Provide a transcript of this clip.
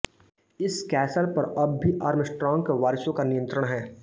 इस कैसल पर अब भी आर्मस्ट्रांग के वारिसों का नियंत्रण है